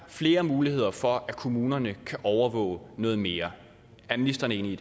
flere muligheder for at kommunerne kan overvåge noget mere er ministeren enig